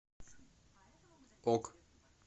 ок